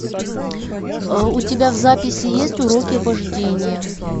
у тебя в записи есть уроки вождения